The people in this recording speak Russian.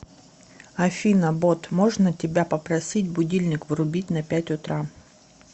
афина бот можно тебя попросить будильник врубить на пять утра